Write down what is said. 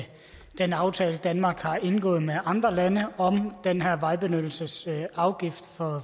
den aftale danmark har indgået med andre lande om den her vejbenyttelsesafgift for